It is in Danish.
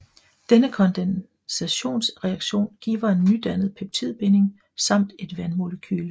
Denne kondensationsreaktion giver en nydannet peptidbinding samt et vandmolekyle